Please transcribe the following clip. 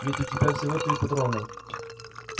ведь у тебя всего три патрона